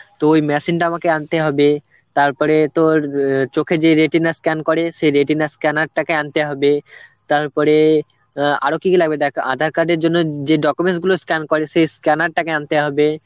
তো ওই machine টা আমাকে আনতে হবে. তারপরে তোর অ্যাঁ চোখে যে retina scan করে সেই retina scanner টাকে আনতে হবে, তারপরে অ্যাঁ আরো কি কি লাগবে দেখ aadhar card এর জন্য যে documents গুলো scan করে সে scanner টাকে আনতে হবে